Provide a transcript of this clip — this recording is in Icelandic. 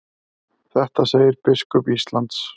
Þetta segir biskup Íslands.